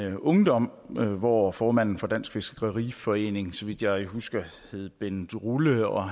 i min ungdom hvor formanden for dansk fiskeriforening så vidt jeg husker hed bendt rulle og